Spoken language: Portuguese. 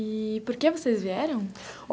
E por que vocês vieram?